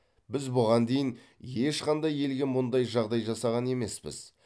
біз бұған дейін ешқандай елге мұндай жағдай жасаған емеспіз